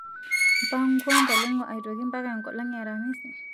pangwa ntaleng'o aitoki mpaka enkolongh' e aramisi